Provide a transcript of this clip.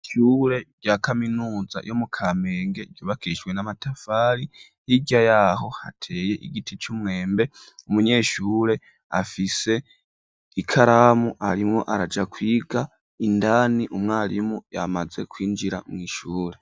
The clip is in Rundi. Ishure rya kaminuza yo mu Kamenge ryubakishwe n'amatafari, hirya yaho hateye igiti c'umwembe, umunyeshure afise ikaramu arimwo araja kwiga, indani umwarimu yamaze kwinjira mw’ishure.